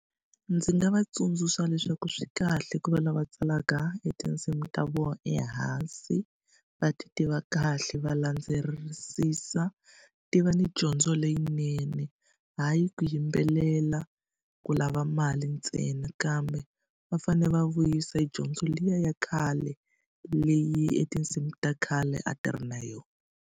Ndzi nga va tsundzuxa leswaku swi kahle ku va lava tsalaka e tinsimu ta vona ehansi, va tiva kahle, va landzelerisisa. Ti va ni dyondzo leyinene. Hayi ku yimbelela ku lava mali ntsena, kambe va fanele va vuyisa dyondzo liya ya khale, leyi e tinsimu ta khale a ti ri na yona.